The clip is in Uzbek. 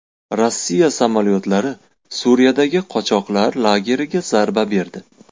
Rossiya samolyotlari Suriyadagi qochoqlar lageriga zarba berdi.